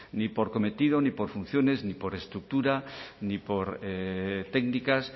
ni por cometido ni por funciones ni por estructura ni por técnicas